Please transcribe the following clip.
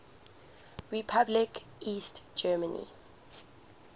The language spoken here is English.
republic east germany